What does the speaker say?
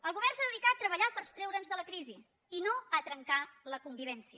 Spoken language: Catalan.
el govern s’ha de dedicar a treballar per treure’ns de la crisi i no a trencar la convivència